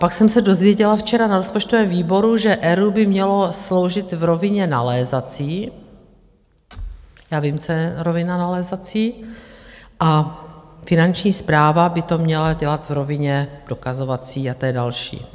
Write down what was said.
Pak jsem se dozvěděla včera na rozpočtovém výboru, že ERÚ by mělo sloužit v rovině nalézací - já vím, co je rovina nalézací - a Finanční správa by to měla dělat v rovině dokazovací, a to je další.